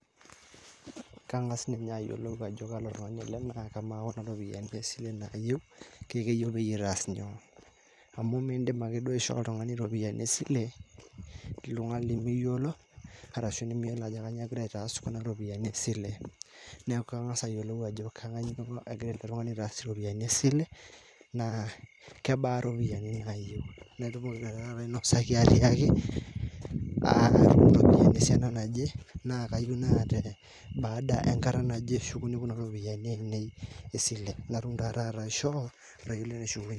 kang'as ninye ayiolou ajo kaalo tungani ele naa kamaa kuna ropiyiani nayieu tesile na keyieu pitaas inyoo? amu mindim ake duoo aishoo oltungani ropiyiani esile toltung'ani limiyiolo ashu kainyioo egira aitaas iropiyiani esile. neeku kangas ayiolou ajo kainyioo eloito ele tungani asishore ena sile naa kebaa iropiyiani nayieu natumoki naa ainosaki atiaki ropiyiani esiana naje baada enkata naje eshukuni kuna ropiyiani ainei esile